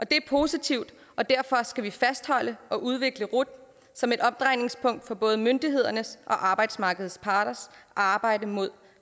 det er positivt og derfor skal vi fastholde og udvikle rut som et omdrejningspunkt i både myndighedernes og arbejdsmarkedets parters arbejde med